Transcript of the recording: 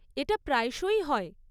এটা প্রায়শই হয়।